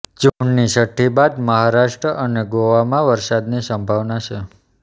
જૂનની છઠ્ઠી બાદ મહારાષ્ટ્ર અને ગોવામાં વરસાદની સંભાવના છે